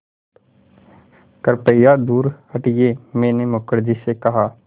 कृपया दूर हटिये मैंने मुखर्जी से कहा